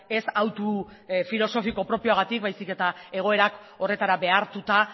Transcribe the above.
ez hautu filosofiko propioagatik baizik eta egoerak horretara behartuta